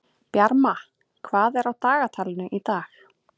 Bjarma, hvað er á dagatalinu í dag?